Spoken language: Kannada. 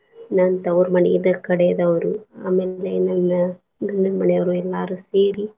ನನ್ ತೌವ್ರ ಮನೀದು ಕಡೆದವ್ರು ಆಮೇಲೆ ನನ್ನ ಗಂಡನ್ ಮನಿಯವ್ರು ಎಲ್ಲಾರೂ ಸೇರಿ.